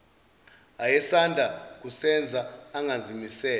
ayesanda kusenza engazimisele